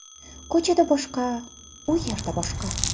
Ko‘chada boshqa, u yerda boshqa.